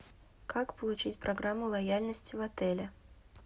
как получить программу лояльности в отеле